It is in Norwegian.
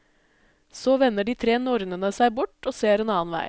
Så vender de tre nornene seg bort og ser en annen vei.